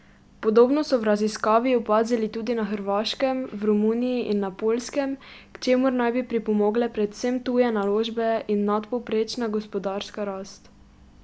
Podobno so v raziskavi opazili tudi na Hrvaškem, v Romuniji in na Poljskem, k čemur naj bi pripomogle predvsem tuje naložbe in nadpovprečna gospodarska rast.